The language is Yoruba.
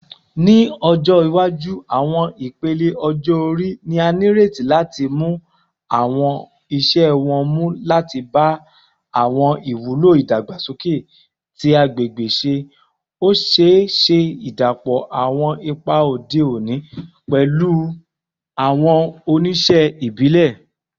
Ni ọjọ iwaju, awọn ipele ọjọ-ori ni a nireti lati mu awọn iṣẹ wọn mu lati ba awọn iwulo idagbasoke ti agbegbe ṣe, o ṣee ṣe idapọ awọn ipa ode oni pẹlu awọn ojuse ibile.